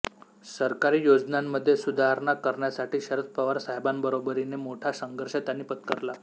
सरकारी योजनांमध्ये सुधारणा करण्यासाठी शरद पवार साहेबांबरोबरीने मोठा संघर्ष त्यांनी पत्करला